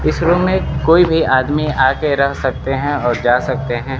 इस रूम में कोई भी आदमी आ के रह सकते हैं और जा सकते हैं।